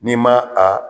N'i ma a